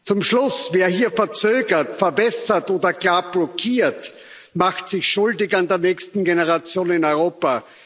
Zum Schluss Wer hier verzögert, verwässert oder gar blockiert, macht sich schuldig an der nächsten Generation in Europa.